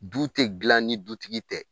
Du tɛ gilan ni dutigi tɛ.